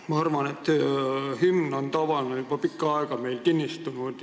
Ma arvan, et hümn on meil tavana juba pikka aega kinnistunud.